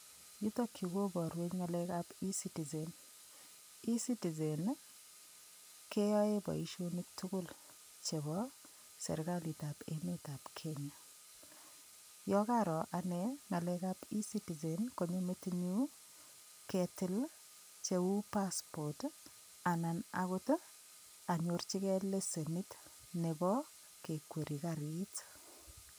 Yutokyu koborwech ng'alekab ecitizen ecitizen keyoe boishonik tugul chebo serikalitab emetab Kenya yo karo ane ng'alekab ecitizen konyo metinyu ketil cheu passport anan akot anyorchinigei lesenit nebo kekweri karit